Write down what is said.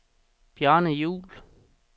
Bjarne Juhl